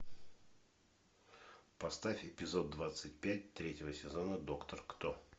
поставь эпизод двадцать пять третьего сезона доктор кто